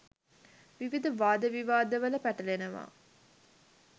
විවිධ වාද විවාද වල පැටලෙනවා